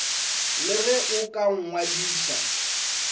le ge o ka nngadiša